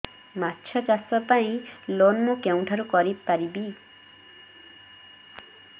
ମାଛ ଚାଷ ପାଇଁ ଲୋନ୍ ମୁଁ କେଉଁଠାରୁ ପାଇପାରିବି